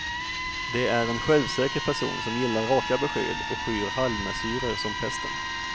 Det är en självsäker person som gillar raka besked och skyr halvmesyrer som pesten.